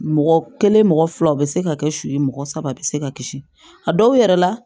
Mɔgɔ kelen mɔgɔ fila u bɛ se ka kɛ su ye mɔgɔ saba bɛ se ka kisi a dɔw yɛrɛ la